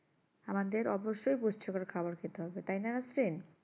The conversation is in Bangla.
আমাদে অবশ্যই গুচ্ছ করে করে খাবার খেতে হবে তাই না রাত্রে